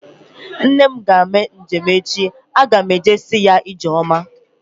Nne m ga-eme njem echi. Aga m eje ka m si ya ijeoma